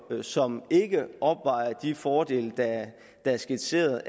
som ikke opvejer de fordele der er skitseret